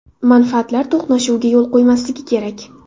Manfaatlar to‘qnashuviga yo‘l qo‘ymasligi kerak.